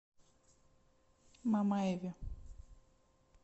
мамаеве